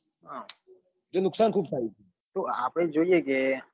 જો નુકસાન બઉ થાય છે તો આપડે જ જોઈએ કે